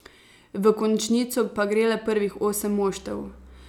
V končnico pa gre le prvih osem moštev.